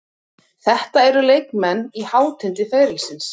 Þetta eru leikmenn á hátindi ferilsins.